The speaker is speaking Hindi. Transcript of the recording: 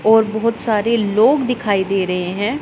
और बहोत सारे लोग दिखाई दे रहे हैं।